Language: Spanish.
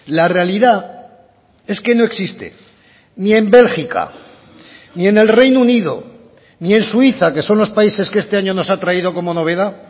la realidad es que no existe ni en bélgica ni en el reino unido ni en suiza que son los países que este año nos ha traído como novedad